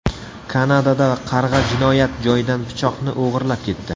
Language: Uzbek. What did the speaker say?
Kanadada qarg‘a jinoyat joyidan pichoqni o‘g‘irlab ketdi.